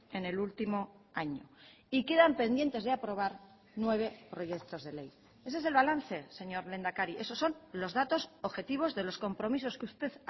en el último año y quedan pendientes de aprobar nueve proyectos de ley ese es el balance señor lehendakari esos son los datos objetivos de los compromisos que usted